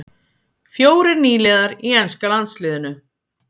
Fjórir nýliðar í enska landsliðinu